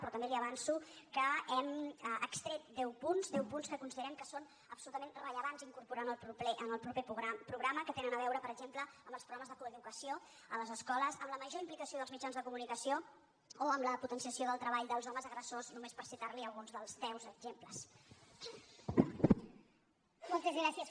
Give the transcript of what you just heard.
però també li avanço que n’hem extret deu punts deu punts que considerem que és absolutament rellevant incorporar en el proper programa que tenen a veure per exemple amb els programes de coeducació a les escoles amb la major implicació dels mitjans de comunicació o amb la potenciació del treball dels homes agressors només per citar li alguns dels deu exemples